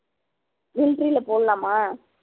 military ல போடலாமா